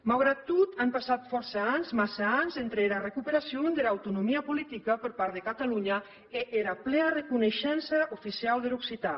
maugrat tot an passat fòrça ans massa ans entre era recuperacion dera autonomia politica per part de catalonha e era plea reconeishença oficiau der occitan